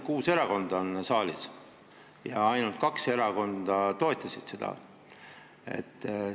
Kuus erakonda on saalis ja ainult kaks erakonda toetasid seda.